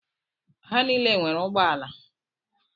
Ha niile nwere ụgbọala.